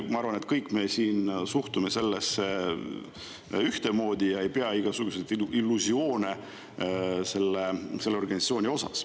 Ma arvan, et kõik me siin suhtume sellesse ühtemoodi ja meil ei ole mingisuguseid illusioone selle organisatsiooni suhtes.